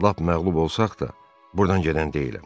Lap məğlub olsaq da, buradan gedən deyiləm.